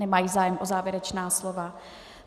Nemají zájem o závěrečná slova.